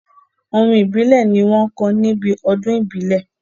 Orin ìbílẹ̀ ni wọ́n ń kọ níbi ọdún ìbílẹ̀.